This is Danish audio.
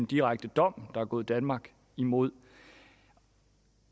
direkte en dom der er gået danmark imod